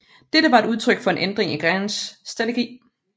Dette var udtryk for en ændring i Grants strategi